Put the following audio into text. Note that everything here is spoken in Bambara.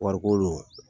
Wariko